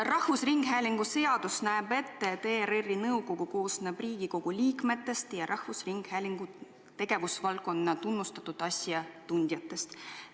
Rahvusringhäälingu seadus näeb ette, et ERR-i nõukogu koosneb Riigikogu liikmetest ja rahvusringhäälingu tegevusvaldkonna tunnustatud asjatundjatest.